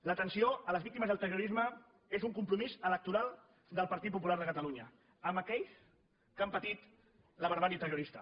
l’atenció a les víctimes del terrorisme és un compromís electoral del partit popular de catalunya amb aquells que han patit la barbàrie terrorista